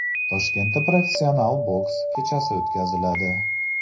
Toshkentda professional boks kechasi o‘tkaziladi.